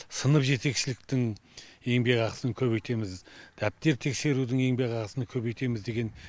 сынып жетекшіліктің еңбек ақысын көбейтеміз дәптер тексерудің еңбек ақысын көбейтеміз деген